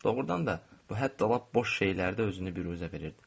Doğrudan da bu hətta lap boş şeylərdə özünü biruzə verirdi.